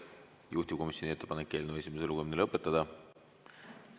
Juhtivkomisjoni ettepanek on eelnõu esimene lugemine lõpetada.